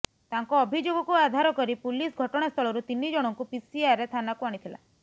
ତାଙ୍କ ଅଭିଯୋଗକୁ ଆଧାର କରି ପୁଲିସ ଘଟଣାସ୍ଥଳରୁ ତିନି ଜଣଙ୍କୁ ପିସିଆରରେ ଥାନାକୁ ଆଣିଥିଲା